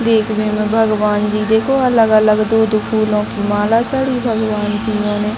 देखने में भगवान जी देखो अलग-अलग दूध फूलों की माला चढ़ी भगवान जी यो ने --